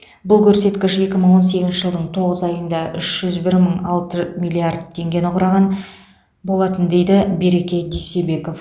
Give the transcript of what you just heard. бұл көрсеткіш екі мың он сегізінші жылдың тоғыз айында үш жүз бір мың алты миллиард теңгені құраған болатын дейді береке дүйсебеков